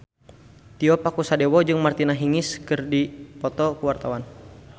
Tio Pakusadewo jeung Martina Hingis keur dipoto ku wartawan